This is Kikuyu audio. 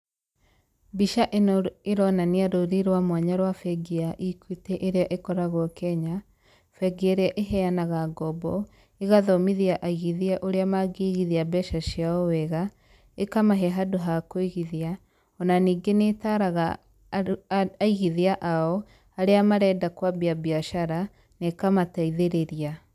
Mbica ĩno ĩronania rũri rwa mwanya rwa bengi ya EQUITY ĩrĩa ĩkoragwo Kenya, bengi ĩrĩa ĩheanaga ngombo, ĩgathomithia aigithia ũrĩa mangĩigithia mbeca ciao wega, ĩkamahe handũ ha kũigithia,o na ningĩ nĩ ĩtaraga andũ aigithia ao arĩa marenda kwambia biacara, na ĩkamateithĩrĩria.